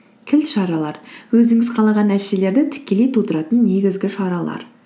кілт шаралар өзіңіз қалаған нәтижелерді тікелей тудыратын негізгі шаралар